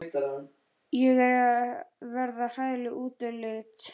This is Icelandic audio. Ég er að verða hræðileg útlits.